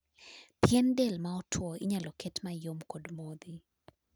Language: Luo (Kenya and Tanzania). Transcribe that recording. pien del ma otuo inyalo ket mayom kod modhi